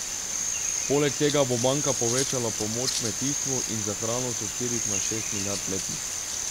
Poleg tega bo banka povečala pomoč kmetijstvu in za hrano s štirih na šest milijard letno.